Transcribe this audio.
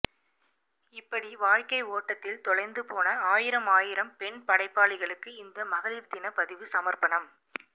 இப்படி வாழ்க்கை ஓட்டத்தில் தொலைந்து போன ஆயிரம் ஆயிரம் பெண்படைப்பாளிகளுக்கு இந்த மகளிர்தினப் பதிவு சமர்ப்பணம்